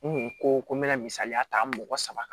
N kun ko ko n mɛna misaliya ta mɔgɔ saba kan